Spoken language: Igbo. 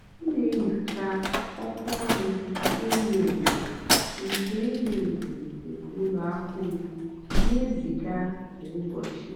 m nà-ènyócha ọ́kwá ọ́rụ́ ènyó ènyó nkè ènyó ènyó nkè ùlọ àkụ́ m nà-èzígá kwá ụ́bọ̀chị́.